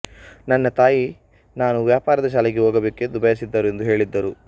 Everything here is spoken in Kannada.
ನನ್ನ ತಾಯಿ ನಾನು ವ್ಯಾಪಾರದ ಶಾಲೆಗೆ ಹೋಗಬೇಕು ಎಂದು ಬಯಸಿದ್ದರು ಎಂದು ಹೇಳಿದ್ದರು